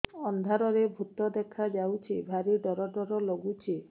ଅନ୍ଧାରରେ ଭୂତ ଦେଖା ଯାଉଛି ଭାରି ଡର ଡର ଲଗୁଛି